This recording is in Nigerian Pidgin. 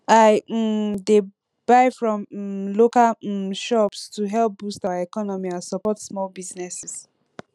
i um dey buy from um local um shops to help boost our economy and support small businesses